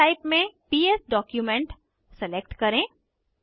file type में PS document select करें